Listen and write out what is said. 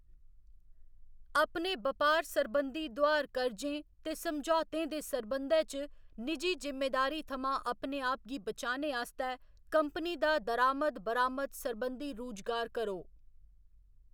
अपने बपार सरबंधी दोआर कर्जें ते समझौतें दे सरबंधै च निजी जिम्मेदारी थमां अपने आप गी बचाने आस्तै, कंपनी दा दरामद बरामद सरबंधी रूजगार करो।